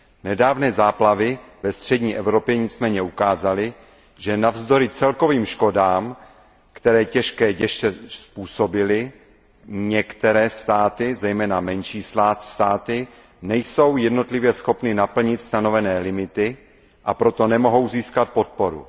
Nedávné záplavy ve střední Evropě nicméně ukázaly, že navzdory celkovým škodám, které těžké deště způsobily, některé státy, zejména menší státy, nejsou jednotlivě schopny naplnit stanovené limity, a proto nemohou získat podporu.